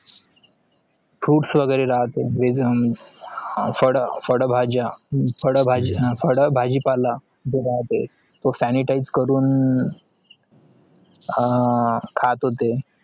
fruits वगरे रातेय फड फड भाजा फड भाजीपाला sanitize करून हा खात होते